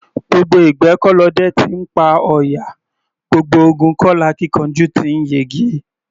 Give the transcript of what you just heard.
Gbogbo ìgbẹ́ kọ́ lọdẹ ti ńpa ọ̀yà; gbogbo ogun kọ́ lakíkanjú ti ńyege.